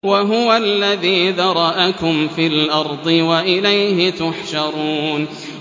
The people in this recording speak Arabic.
وَهُوَ الَّذِي ذَرَأَكُمْ فِي الْأَرْضِ وَإِلَيْهِ تُحْشَرُونَ